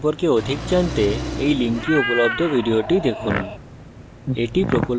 spoken tutorial প্রকল্প সম্পর্কে অধিক জানতে এই link উপলব্ধ video দেখুন